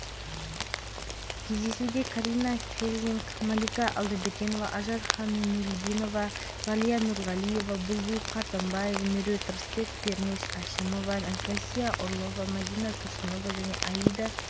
қазақстан-ұлыбритания құрлықтық хоккей лигасының тұрақты чемпионатында астананың барысы минскіде динамо командасымен кездесіп есебімен жеңілді нәзира жәрімбетова